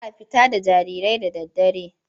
Ba a fita da jarirai da daddare.